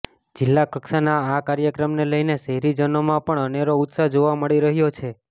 જિલ્લા કક્ષાના આ કાર્યક્રમને લઈને શહેરીજનોમાં પણ અનેરો ઉત્સાહ જોવા મળી રહ્યો છે